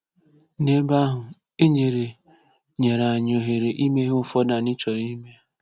N’ebe ahụ, e nyere nyere anyị ohere ime ihe ụfọdụ anyị chọrọ ime.